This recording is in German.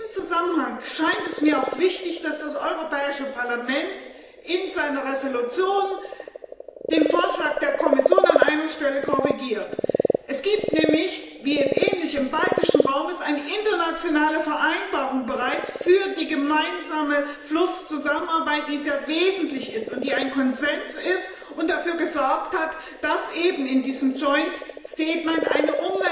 In diesem Zusammenhang scheint es mir auch wichtig, dass das Europäische Parlament in seiner Entschließung den Vorschlag der Kommission an einer Stelle korrigiert Es gibt nämlich ähnlich wie im baltischen Raum bereits eine internationale Vereinbarung für die gemeinsame Flusszusammenarbeit, die sehr wesentlich ist, die ein Konsens ist und dafür gesorgt hat, dass eben in diesem Joint Statement ein